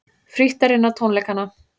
Frítt er inn á tónleikana